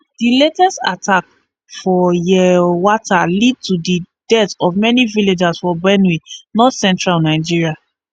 di latest attack for yelwata lead to di death of many villagers for benue state north central nigeria